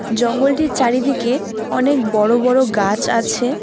জঙ্গলটির চারিদিকে অনেক বড় বড় গাছ আছে।